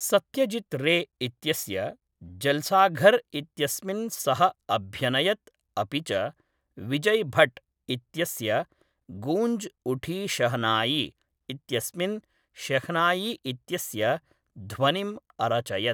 सत्यजित् रे इत्यस्य जल्साघर् इत्यस्मिन् सः अभ्यनयत् अपि च विजय् भट्ट् इत्यस्य गूंज उठी शहनाई इत्यस्मिन् शेह्नायी इत्यस्य ध्वनिम् अरचयत्।